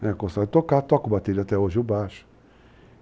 Eu gostava de tocar, toco o bateria até hoje, o baixo.